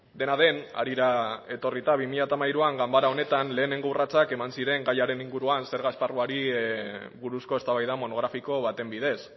dena den harira etorrita bi mila hamairuan ganbara honetan lehenengo urratsak eman ziren gaiaren inguruan zerga esparruari buruzko eztabaida monografiko baten bidez